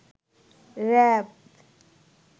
RAB